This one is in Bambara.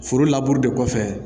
Foro laburu de kɔfɛ